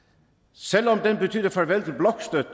selv om det betyder farvel